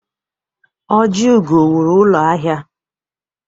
Ojiugo wụrụ ụlọ ahịa.